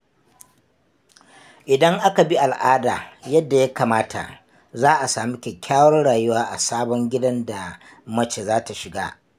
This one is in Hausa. Idan aka bi al’ada yadda ya kamata, za a sami kyakkyawar rayuwa a sabon gidan da mace za ta shiga.